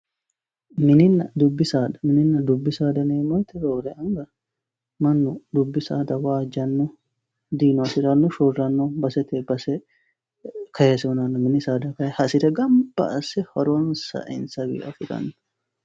Mininna dubbi saada, mininna dubbi saada yineemmo woyte roore anga mannu dubbi saada waajjano diino hasirano shorano basetenni base kayse hunanno, mini saada kayinni hasire gamba asse horonsa insawi affirano.